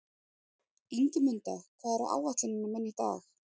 Ingimunda, hvað er á áætluninni minni í dag?